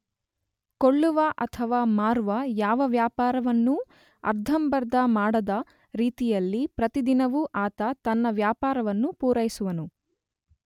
ಕೊಳ್ಳುವ ಅಥವಾ ಮಾರುವ ಯಾವ ವ್ಯವಹಾರವನ್ನೂ ಅರ್ಧಂಬರ್ಧ ಮಾಡದ ರೀತಿಯಲ್ಲಿ ಪ್ರತಿ ದಿನವೂ ಆತ ತನ್ನ ವ್ಯಾಪಾರವನ್ನು ಪುರೈಸುವನು.